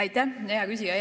Aitäh, hea küsija!